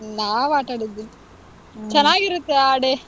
ನಾವಾಟಾಡಿದ್ವಿ. ಚೆನಾಗಿರುತ್ತೆ ಆ day .